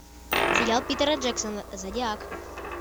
сериал питера джексона зодиак